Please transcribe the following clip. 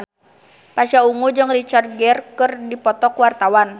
Pasha Ungu jeung Richard Gere keur dipoto ku wartawan